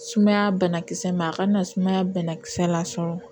Sumaya bana kisɛ mɛ a kana sumaya banakisɛ lasɔrɔ